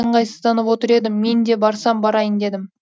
ыңғайсызданып отыр едім мен де барсам барайын дедім